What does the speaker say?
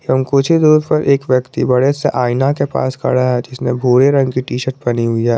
एवम् कुछ ही दूर पर एक व्यक्ति बड़े सा आईना के पास खड़ा है जिसने भूरे रंग की टी शर्ट पहनी हुई है।